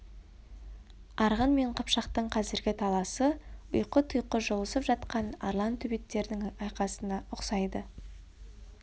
арғын мен қыпшақтың қазіргі таласы ұйқы-тұйқы жұлысып жатқан арлан төбеттердің айқасына ұқсайды